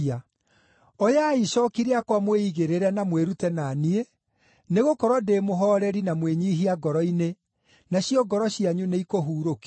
Oyai icooki rĩakwa mwĩigĩrĩre na mwĩrute na niĩ, nĩgũkorwo ndĩ mũhooreri na mwĩnyiihia ngoro-inĩ, nacio ngoro cianyu nĩikũhurũkio.